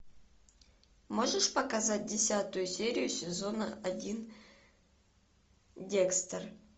можешь показать десятую серию сезона один декстер